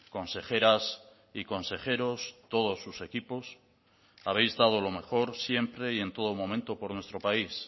consejeras y consejeros todos sus equipos habéis dado lo mejor siempre y en todo momento por nuestro país